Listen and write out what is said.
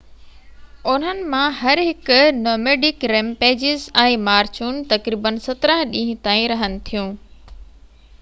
انهن مان هر هڪ نوميڊڪ ريمپيجز ۽ مارچون تقريبن 17 ڏينهن تائين رهن ٿيون